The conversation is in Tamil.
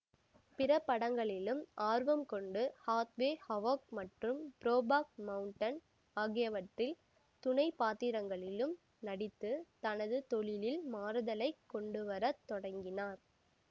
பிற படங்களிலும் ஆர்வம்கொண்டு ஹாத்வே ஹவொக் மற்றும் புரோக்பாக் மவுண்டன் ஆகியவற்றில் துணை பாத்திரங்களிலும் நடித்து தனது தொழிலில் மாறுதலைக் கொண்டுவர தொடங்கினார்